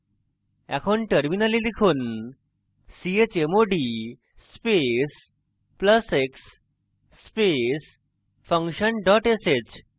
এখন terminal লিখুন chmod space plus x space function dot sh